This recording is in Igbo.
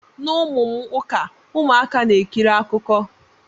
Na ụmụ m ụka, ụmụaka na-ekiri akụkọ.